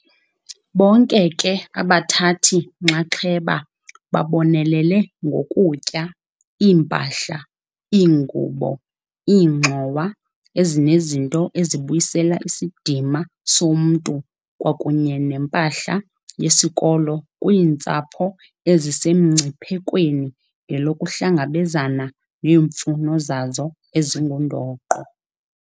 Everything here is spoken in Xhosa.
Bonke ke abathathi-nxaxheba babonelele ngokutya, iimpahla, iingubo, iingxowa ezinezinto ezibuyisela isidima somntu kwakunye nempahla yesikolo kwiintsapho ezisemngciphekweni ngelokuhlangabezana neemfuno zazo ezingundoqo.